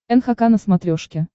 нхк на смотрешке